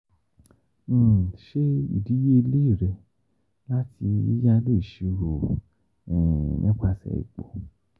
um Ṣe idiyele rẹ lati Yiyalo iṣiro nipasẹ ipo.